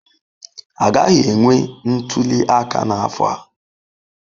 Agaghị enwe ntuli aka n'afọ a?